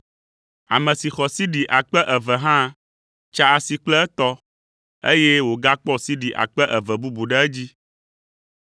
Ame si xɔ sidi akpe eve hã tsa asi kple etɔ, eye wògakpɔ sidi akpe eve bubu ɖe edzi.